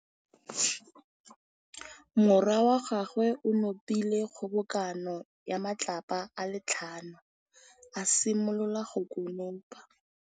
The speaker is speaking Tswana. Morwa wa gagwe o nopile kgobokanô ya matlapa a le tlhano, a simolola go konopa.